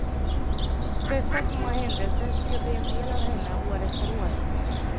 Dessa små händelser skulle bli en del av henne, år efter år.